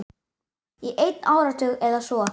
Í einn áratug eða svo.